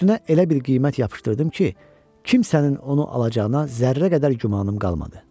Üstünə elə bir qiymət yapışdırdım ki, kimsənin onu alacağına zərrə qədər gümanım qalmadı.